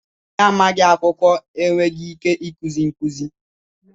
Onye amaghị akwụkwọ enweghị ike ikuzi nkụzi